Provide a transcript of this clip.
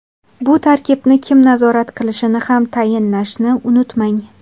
Bu tartibni kim nazorat qilishini ham tayinlashni unutmang.